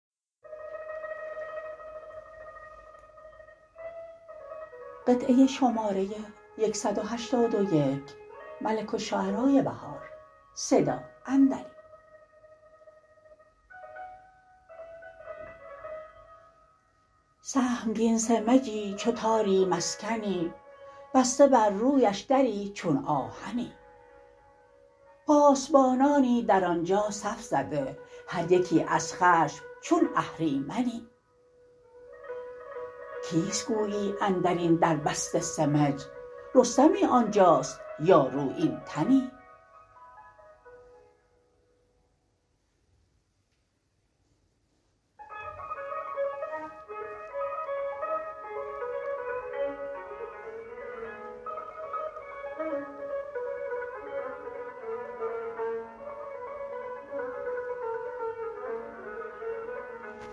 سهمگین سمجی چو تاری مسکنی بسته برروبش دری چون آهنی پاسبانانی در آنجا صف زده هریکی از خشم چون اهریمنی کیست گویی اندربن در بسته سمج رستمی آنجاست یا روبین تنی